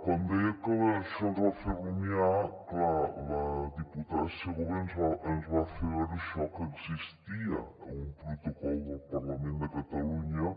quan deia que això ens va fer rumiar clar la diputada segovia ens va fer veure això que existia un protocol del parlament de catalunya